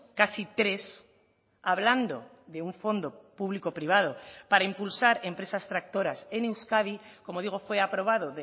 casi tres hablando de un fondo público privado para impulsar empresas tractoras en euskadi como digo fue aprobado